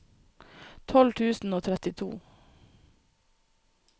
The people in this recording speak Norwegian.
tolv tusen og trettito